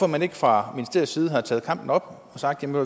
man ikke fra ministeriets side taget kampen op og sagt ved